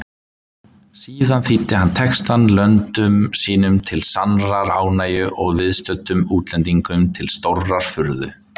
Síðan þýddi hann textann löndum sínum til sannrar ánægju og viðstöddum útlendingum til stórrar furðu.